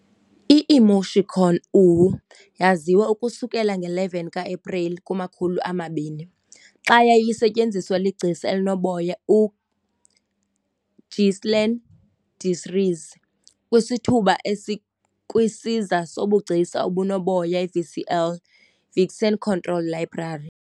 I-emoticon "uwu" yaziwa ukusukela nge-11 ka-Epreli 2000, xa yayisetyenziswa ligcisa elinoboya uGhislain Deslierres kwisithuba esikwisiza sobugcisa obunoboya VCL, Vixen Controlled Library.